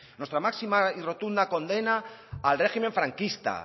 nuestra máxima y rotunda condena al régimen franquista